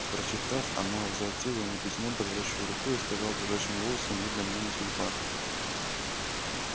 прочитав она возвратила мне письмо дрожащею рукою и сказала дрожащим голосом видно мне не судьба